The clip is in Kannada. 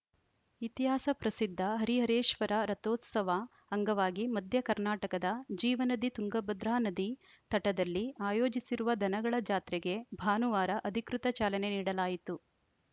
ಇತಿಹಾಸ ಪ್ರಸಿದ್ಧ ಹರಿಹರೇಶ್ವರ ರಥೋತ್ಸವ ಅಂಗವಾಗಿ ಮಧ್ಯ ಕರ್ನಾಟಕದ ಜೀವನದಿ ತುಂಗಭದ್ರಾ ನದಿ ತಟದಲ್ಲಿ ಆಯೋಜಿಸಿರುವ ದನಗಳ ಜಾತ್ರೆಗೆ ಭಾನುವಾರ ಅಧಿಕೃತ ಚಾಲನೆ ನೀಡಲಾಯಿತು